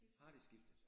Har de skiftet?